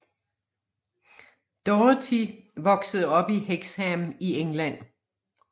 Doherty voksede op i Hexham i England